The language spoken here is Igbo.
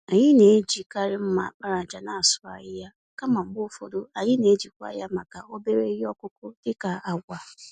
Anyị na-eji karị mma àkpàràjà n'asụ ahịhịa, kama mgbe ụfọdụ, anyị n'eji kwa ya màkà obere ihe ọkụkụ dị ka agwa.